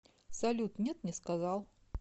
салют нет не сказал